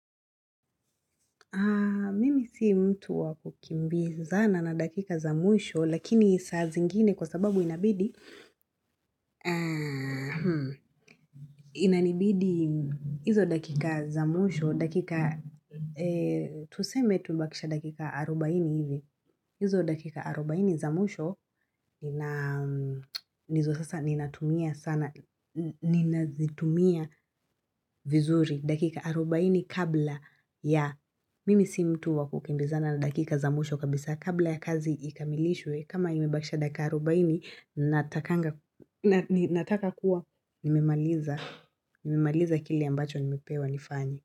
Mimi si mtu wakukimbizana na dakika za mwisho, lakini saa zingine kwa sababu inabidi, inanibidi hizo dakika za mwisho, dakika, tuseme tubakishe dakika arobaini hivi, hizo dakika arobaini za mwisho, ndizo sasa ninatumia sana, ninazitumia vizuri, dakika arobaini kabla ya. Mimi si mtu wakukimbizana na dakika za mwisho kabisa kabla ya kazi ikamilishwe kama imebakisha dakika arobaini natakanga nataka kuwa nimemaliza kili ambacho nimepewa nifanye.